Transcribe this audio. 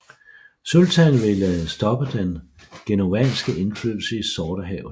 Sultanen ville stoppe den genovanske indflydelse i Sortehavet